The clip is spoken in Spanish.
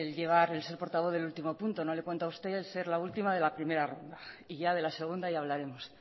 el ser portavoz del último punto no le cuento a usted ser la última de la primera ronda y ya de la segunda ya hablaremos